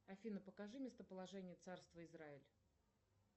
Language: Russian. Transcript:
афина покажи местоположение царства израиль